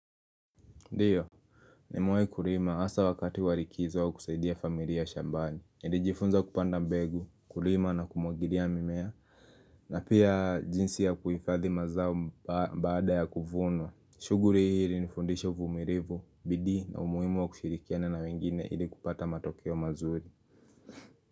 Ndiyo, nimewahi kulima hasa wakati wa likizo au kusaidia familia shambani. Nijifunza kupanda mbegu, kulima na kumwagilia mimea, na pia jinsi ya kuhifadhi mazao baada ya kuvunwa. Shughuli hii ilinifundisha uvumilivu, bidii na umuhimu wa kushirikiana na wengine ili kupata matokeo mazuri.